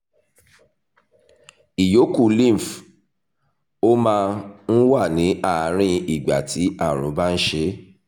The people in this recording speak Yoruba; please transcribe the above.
ìyókù lymph ó máa ń wà ní àárín ìgbà tí àrùn bá ń ṣe é